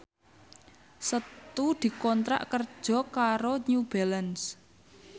Setu dikontrak kerja karo New Balance